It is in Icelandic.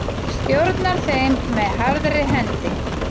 Stjórnar þeim með harðri hendi.